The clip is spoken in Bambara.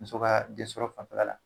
Muso ka den sɔrɔ fanfɛla la.